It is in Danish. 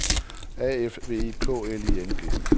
A F V I K L I N G